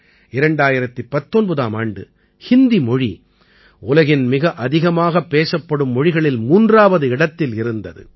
2019ஆம் ஆண்டு ஹிந்தி மொழி உலகின் மிக அதிகமாகப் பேசப்படும் மொழிகளில் மூன்றாவது இடத்தில் இருந்தது